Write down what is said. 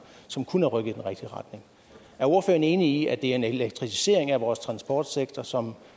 som kunne have rykket i den rigtige retning er ordføreren enig i at en elektrificering af vores transportsektor som